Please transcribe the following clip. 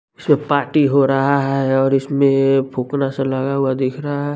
इसमें पार्टी हो रहा है और इसमेंएएए फुकना सा लगा हुआ दिख रहा है।